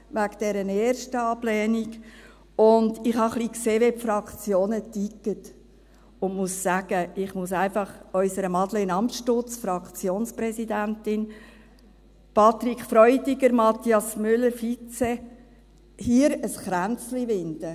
Und ich habe ein bisschen gesehen, wie die Fraktionen ticken, und muss sagen: Ich möchte einfach unserer Madeleine Amstutz, Fraktionspräsidentin, Patrick Freudiger und Mathias Müller, Vizefraktionspräsidenten, hier ein Kränzchen winden.